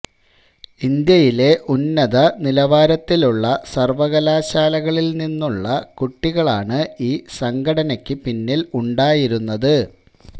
ഇന്ത്യയിലെ ഉന്നത നിലവാരത്തിലുള്ള സര്വകലാശാലകളില് നിന്നുള്ള കുട്ടികളാണ് ഈ സംഘടനക്കു പിന്നില് ഉണ്ടായിരുന്നത്